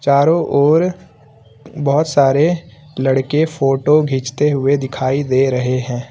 चारों ओर बहुत सारे लड़के फोटो खींचते हुए दिखाई दे रहे हैं।